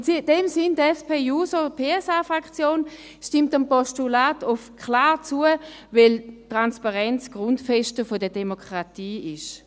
In diesem Sinn: Die SP-JUSO-PSA-Fraktion stimmt dem Postulat klar zu, weil die Transparenz eine Grundfeste der Demokratie ist.